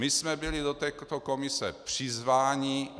My jsme byli do této komise přizváni.